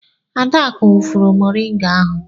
Adaku wụfuru mọringa ahụ.